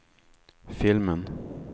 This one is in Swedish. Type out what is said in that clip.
filmen